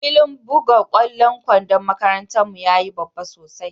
Filin bugan kwallon kwandon makarantan mu ya yi babba sosai.